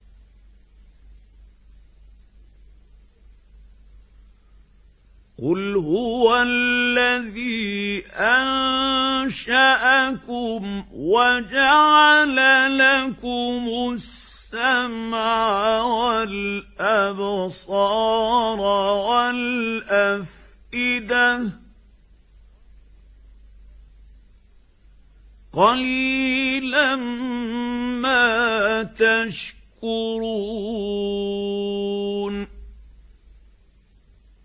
قُلْ هُوَ الَّذِي أَنشَأَكُمْ وَجَعَلَ لَكُمُ السَّمْعَ وَالْأَبْصَارَ وَالْأَفْئِدَةَ ۖ قَلِيلًا مَّا تَشْكُرُونَ